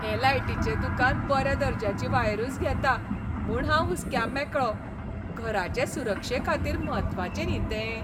हें लायटीचें दुकान बऱ्या दर्ज्याची वायरूच घेता म्हूण हांव हुस्क्यामेकळो. घराचे सुरक्षे खातीर म्हत्वाचें न्ही तें.